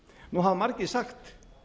nú hafa margir sagt